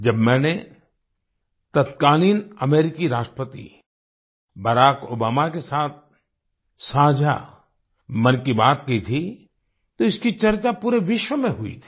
जब मैंने तत्कालीन अमेरिकी राष्ट्रपति बराक ओबामा के साथ साझा मन की बात की थी तो इसकी चर्चा पूरे विश्व में हुई थी